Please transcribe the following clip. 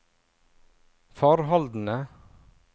forholdene